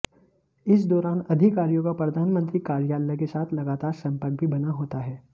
इस दौरान अधिकारियों का प्रधानमंत्री कार्यालय के साथ लगातार संपर्क भी बना होता है